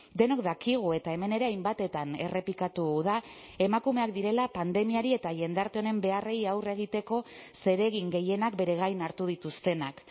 denok dakigu eta hemen ere hainbatetan errepikatu da emakumeak direla pandemiari eta jendarte honen beharrei aurre egiteko zeregin gehienak bere gain hartu dituztenak